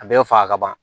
A bɛɛ faga ka ban